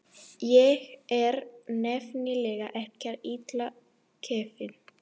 Ég er nefnilega ekkert illa gefinn.